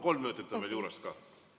Kolm minutit on veel juures ka.